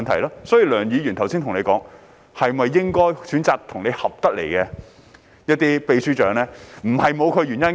因此，梁議員剛才建議局長選擇與其合拍的常任秘書長，並非沒有原因。